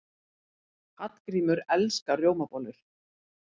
Hallgrímur elskar rjómabollur.